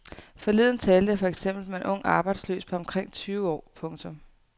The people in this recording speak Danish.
Forleden talte jeg for eksempel med en ung arbejdsløs på omkring tyve år. punktum